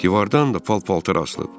Divardan da paltarlar asılıb.